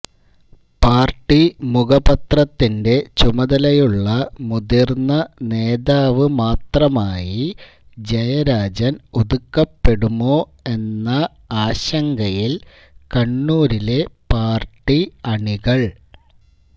party മുഖപത്രത്തിന്റെ ചുമതലയുള്ള മുതിർന്ന നേതാവ് മാത്രമായി ജയരാജൻ ഒതുക്കപ്പെടുമോ എന്ന ആശങ്കയിൽ കണ്ണൂരിലെ പാർട്ടി അണികൾ